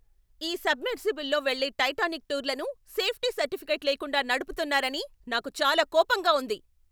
ఈ సబ్మెర్సిబుల్స్లో వెళ్ళే టైటానిక్ టూర్లను సేఫ్టీ సర్టిఫికేట్ లేకుండా నడుపుతున్నారని నాకు చాలా కోపంగా ఉంది.